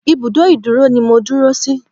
Ìbùdó ìdúró ni mo dúró sí.